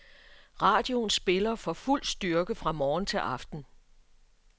Radioen spiller for fuld styrke fra morgen til aften.